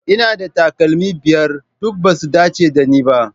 Ina da takalmi biyar, duk ba su dace da ni ba.